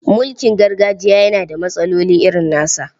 Mulkin gargajiya yana da matsaloli irin nasa.